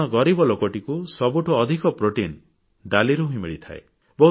କାରଣ ଗରିବ ଲୋକଟିକୁ ସବୁଠୁ ଅଧିକ ପ୍ରୋଟିନ୍ ଡାଲିରୁ ହିଁ ମିଳିଥାଏ